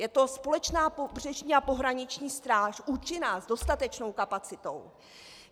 Je to společná pobřežní a pohraniční stráž, účinná s dostatečnou kapacitou.